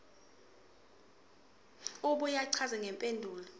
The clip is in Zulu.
abuye achaze ngempumelelo